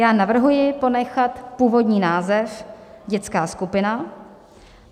Já navrhuji ponechat původní název dětská skupina.